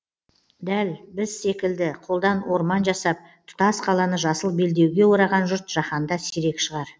дәл біз секілді қолдан орман жасап тұтас қаланы жасыл белдеуге ораған жұрт жаһанда сирек шығар